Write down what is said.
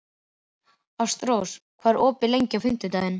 Ástrós, hvað er opið lengi á fimmtudaginn?